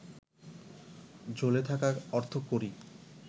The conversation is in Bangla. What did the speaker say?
ঝুলে থাকা অর্থকড়ি